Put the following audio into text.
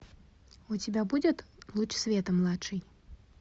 у тебя будет луч света младший